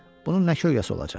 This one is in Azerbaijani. Bunun nə kölgəsi olacaq?